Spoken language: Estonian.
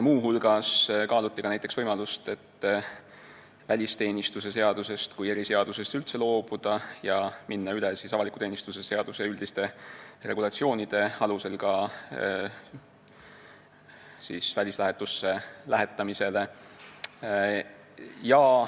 Muu hulgas kaaluti ka näiteks seda, et välisteenistuse seadusest kui eriseadusest võiks üldse loobuda ja minna üle ka välislähetusse saatmisel avaliku teenistuse seaduse üldiste regulatsioonide alusele.